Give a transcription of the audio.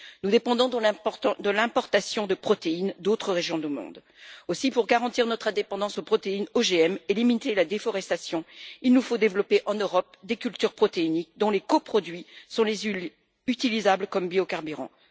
Nous dépendons donc de l'importation de protéines d'autres régions du monde. Aussi, pour garantir notre indépendance à l'égard des protéines OGM et limiter la déforestation, il nous faut développer, en Europe, des cultures protéiniques dont les coproduits sont les huiles utilisables comme biocarburants.